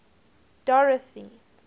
dorothy